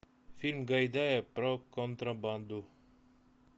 фильм гайдая про контрабанду